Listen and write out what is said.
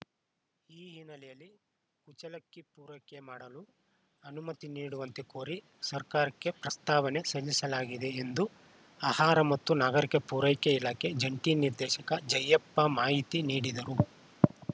ಈ ಹಿನ್ನೆಲೆಯಲ್ಲಿ ಕುಚಲಕ್ಕಿ ಪೂರೈಕೆ ಮಾಡಲು ಅನುಮತಿ ನೀಡುವಂತೆ ಕೋರಿ ಸರ್ಕಾರಕ್ಕೆ ಪ್ರಸ್ತಾವನೆ ಸಲ್ಲಿಸಲಾಗಿದೆ ಎಂದು ಆಹಾರ ಮತ್ತು ನಾಗರಿಕ ಪೂರೈಕೆ ಇಲಾಖೆ ಜಂಟಿ ನಿರ್ದೇಶಕ ಜಯಪ್ಪ ಮಾಹಿತಿ ನೀಡಿದರು